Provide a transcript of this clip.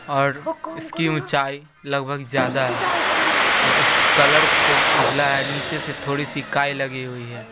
और इसकी ऊंचाई लगभग जादा है और इस कलर को उजला है नीचे से थोड़ी सी काई लगी हुई है।